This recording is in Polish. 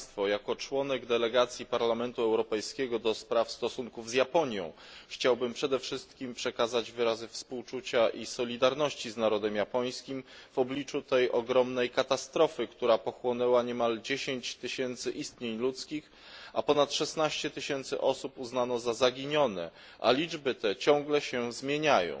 Jako członek delegacji Parlamentu Europejskiego do spraw stosunków z Japonią chciałbym przede wszystkim przekazać wyrazy współczucia i solidarności z narodem japońskim w obliczu tej ogromnej katastrofy, która pochłonęła niemal 10 tysięcy istnień ludzkich, a ponad 16 tysięcy osób uznano za zaginione, a liczby te ciągle się zmieniają.